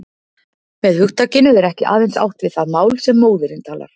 Með hugtakinu er ekki aðeins átt við það mál sem móðirin talar.